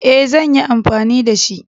E, zan yi anfani da shi.